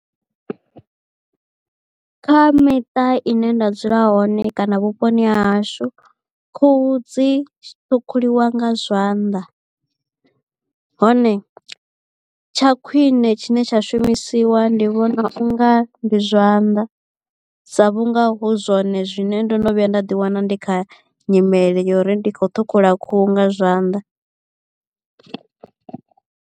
Kha miṱa i ne nda dzula hone kana vhuponi ha hashu khuhu dzi ṱhukhuliwa nga zwanḓa hone tsha khwine tshine tsha shumisiwa ndi vhona unga ndi zwanḓa sa vhunga hu zwone zwine ndo no vhuya nda ḓi wana ndi kha nyimele yo uri ndi khou ṱhukhula khuhu nga zwanḓa.